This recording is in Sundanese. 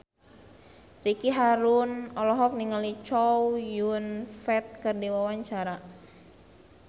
Ricky Harun olohok ningali Chow Yun Fat keur diwawancara